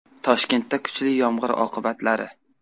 Toshkentda kuchli yomg‘ir oqibatlari.